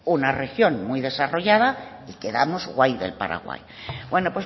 una región muy desarrollada y quedamos guay del paraguay bueno